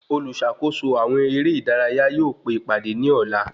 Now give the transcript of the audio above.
Oluṣakoso àwọn ere ìdárayá yóò pe ìpàdé ní ọ̀la